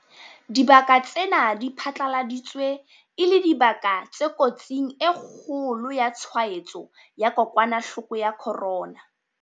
Dibaka tsena di phatlaladitswe e le dibaka tse kotsing e kgolo ya tshwaetso ya kokwanahloko ya corona.